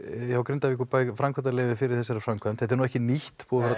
Grindavíkurbæ framkvæmdaleyfi fyrir þessari framkvæmd þetta er nú ekki nýtt